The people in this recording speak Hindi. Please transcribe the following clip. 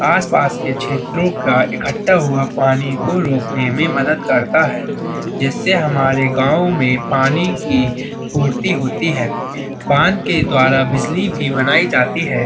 आसपास के क्षेत्रों का इखट्टा हुआ पानी को रोकने में मदद करता है। जिससे हमारे गांव में पानी की पूर्ति होती है। बाँध के द्वारा बिजली भी बनायी जाती है।